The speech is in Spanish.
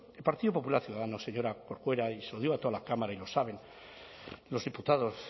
partido popular ciudadanos señora corcuera y se lo digo a toda la cámara y lo saben los diputados